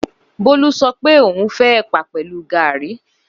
Bólú sọ pé òhun fẹ́ ẹ̀pà pẹ̀lúu gààríí.